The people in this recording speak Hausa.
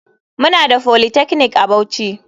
Muna da polytechnic a bauchi.